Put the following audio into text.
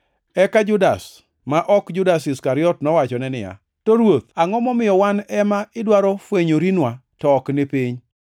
Eka Judas, ma ok Judas Iskariot, nowachone niya, “To Ruoth, angʼo momiyo wan ema idwaro fwenyorinwa to ok ni piny?”